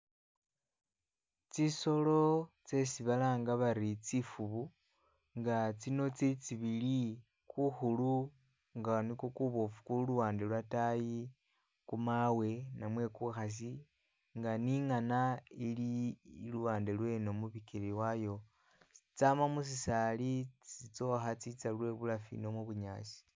Tsisolo tsesi balanga bari tsifuubu nga tsino tsili tsibili, kukhuulu nga nikwo kubofu kuli luwande lwotayi, kumawe namwe kukhasi nga ninghana ili luwande lweno mubikele wayo, tsama musisaali tsitsokha tsitsa lwebulafu ino mubunyaasi